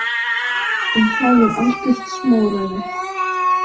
En það er algjört smáræði.